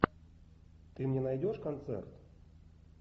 ты мне найдешь концерт